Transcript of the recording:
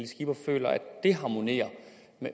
skipper føler at det harmonerer